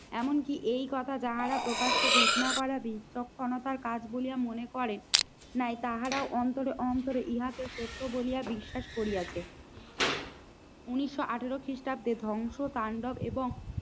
এমনকি এই কথা যাহারা প্রকাশ্যে ঘোষণা করারই তৎক্ষণাৎ বলে মনে করে নাই তাহারা অন্তরে অন্তরে ইহাতে সত্য বলিয়া বিশ্বাস করিয়াছে। উনিশশো আঠেরো খ্রিস্টাব্দে ধ্বংস তান্ডব এবং